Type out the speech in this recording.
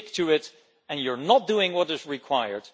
Stick to it and you are not doing what is required